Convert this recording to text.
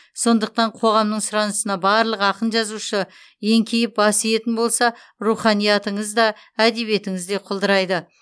сондықтан қоғамның сұранысына барлық ақын жазушы еңкейіп бас иетін болса руханиятыңыз да әдебиетіңіз де құлдырайды